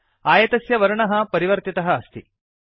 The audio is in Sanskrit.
आयतस्य वर्णः परिवर्तितः अस्ति